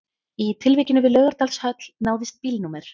Í tilvikinu við Laugardalshöll náðist bílnúmer